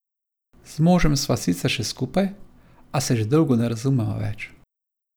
Z možem sva sicer še skupaj, a se že dolgo ne razumeva več.